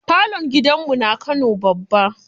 Falon gidan mu na kano babba.